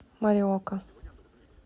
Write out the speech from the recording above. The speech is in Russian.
мориока